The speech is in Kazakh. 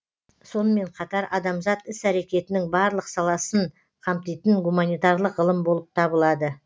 сонымен қатар адамзат іс әрекетінің барлық саласын қамтитын гуманитарлық ғылым болып табылады